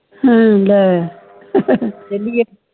ਹੱਮ ਲੈ